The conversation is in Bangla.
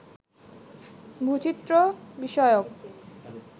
ভূচিত্র বিষয়ক